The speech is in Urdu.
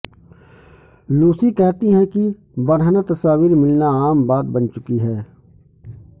لوسی کہتی ہیں کہ برہنہ تصاویر ملنا عام بات بن چکی ہے